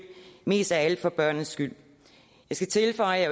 mest af alt for børnenes skyld jeg skal tilføje at